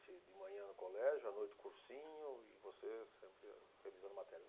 De manhã colégio, à noite cursinho e você sempre revisando matérias.